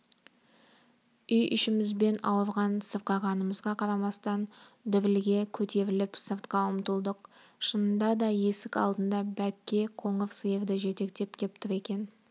үй ішімізбен ауырған-сырқағанымызға қарамастан дүрліге көтеріліп сыртқа ұмтылдық шынында да есік алдында бәкке қоңыр сиырды жетектеп кеп тұр екен